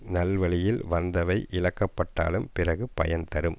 நல்வழியில் வந்தவை இழக்கப்பட்டாலும் பிறகு பயன் தரும்